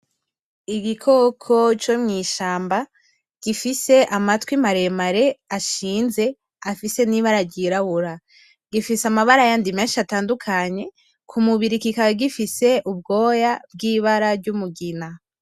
Igikoko co mw'ishamba gifise anmatwi maremare ashinze afise n'ibara ryirabura. Gifise ayandi mabara menshi atandukanye. Ku mubiri kigaba gifise ubwoya bw'ibara ry'umugina.